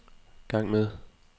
gang med